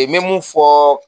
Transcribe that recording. me mun fɔ